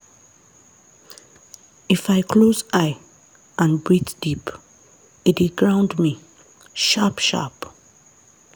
if i close eye and breathe deep e dey ground me sharp-sharp.